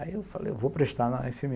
Aí eu falei, vou prestar na efe